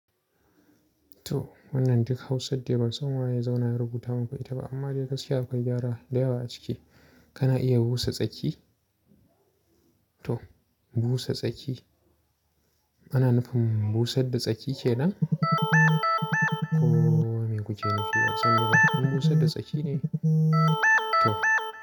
To wannan duk Hausad dai ban san waye zauna ya rubuta muku ita ba, amma dai gaskiya akwai gyara da yawa a ciki. Kana iya busa tsaki? To busa tsaki. Ana nufin busadda tsaki kenan? Ko me kuke nufi? A can gaba, in busadda tsaki ne? To.